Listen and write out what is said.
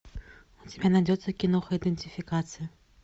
у тебя найдется киноха идентификация